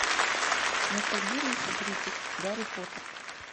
ностальгирующий критик гарри поттер